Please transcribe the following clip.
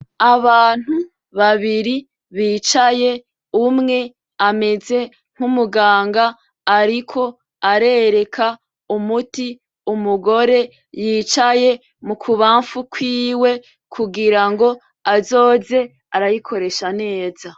Abantu babiri bicaye umwe ameze nk’umuganga ariko arereka umuti umugore yicaye mu kubanfu kwiwe kugirango azoze arayikoresha neza.